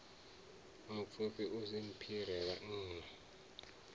mupfufhi u si mphire vhanna